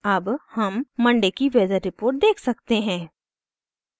अब हम Monday monday की वेदर रिपोर्ट देख सकते हैं